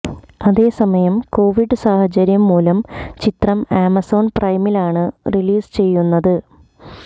അതേസമയം കൊവിഡ് സാഹചര്യം മൂലം ചിത്രം ആമസോണ് പ്രൈമിലാണ് റിലീസ് ചെയ്യുന്നത്